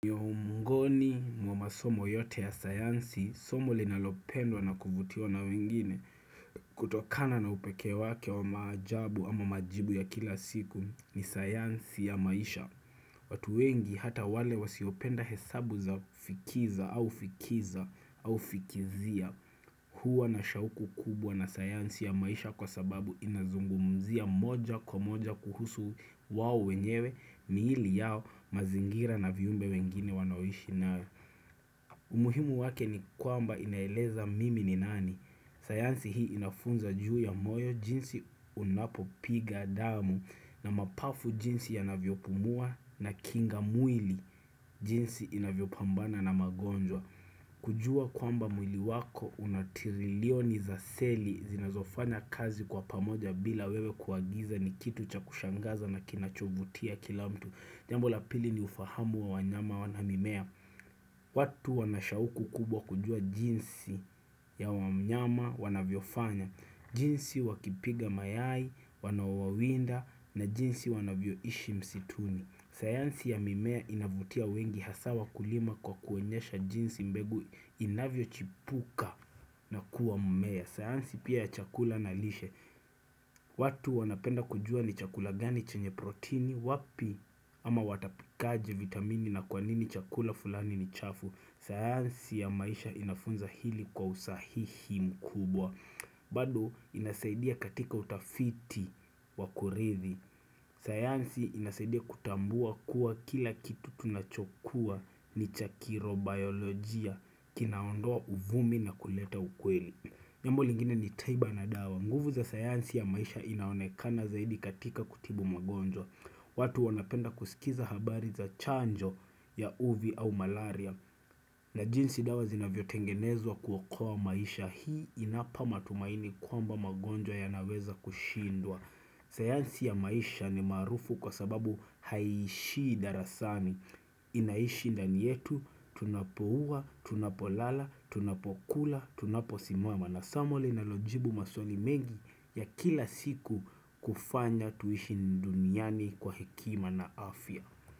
Miongoni mwa masomo yote ya sayansi, somo linalopendwa na kuvutiwa na wengine, kutokana na upekee wake wa maajabu ama majibu ya kila siku, ni sayansi ya maisha. Watu wengi hata wale wasiopenda hesabu za kufikiza au fikiza au fikizia, huwa na shauku kubwa na sayansi ya maisha kwa sababu inazungumzia moja kwa moja kuhusu wao wenyewe, miili yao, mazingira na viumbe wengine wanaoishi nao. Umuhimu wake ni kwamba inaeleza mimi ni nani. Sayansi hii inafunza juu ya moyo jinsi unapopiga damu na mapafu jinsi yanavyopumua, na kinga mwili jinsi inavyopambana na magonjwa. Kujua kwamba mwili wako unatirilioni za seli zinazofanya kazi kwa pamoja bila wewe kuagiza ni kitu cha kushangaza na kinachovutia kila mtu. Jambo la pili ni ufahamu wa wanyama, wanamimea watu wanashauku kubwa kujua jinsi ya wanyama wanavyofanya jinsi wakipiga mayai, wanaowawinda na jinsi wanavyoishi msituni. Sayansi ya mimea inavutia wengi hasa wakulima kwa kuonyesha jinsi mbegu inavyochipuka na kuwa mmea. Sayansi pia ya chakula na lishe. Watu wanapenda kujua ni chakula gani chenye protini, wapi ama watapikaje vitamini na kwanini chakula fulani ni chafu. Sayansi ya maisha inafunza hili kwa usahihi mkubwa. Bado inasaidia katika utafiti wa kurithi. Sayansi inasadia kutambua kuwa kila kitu tunachokuwa ni cha kirobiolojia kinaondoa uvumi na kuleta ukweli. Jambo lingine ni tiba na dawa. Nguvu za sayansi ya maisha inaonekana zaidi katika kutibu magonjwa watu wanapenda kusikiza habari za chanjo ya uvi au malaria na jinsi dawa zinavyotengenezwa kuokoa maisha. Hii inapa matumaini kwamba magonjwa yanaweza kushindwa sayansi ya maisha ni maarufu kwa sababu haishii darasani Inaishi ndani yetu, tunapokuwa, tunapolala, tunapokula, tunaposisimama. Na somo linalojibu maswali mengi ya kila siku kufanya tuishi duniani kwa hekima na afya.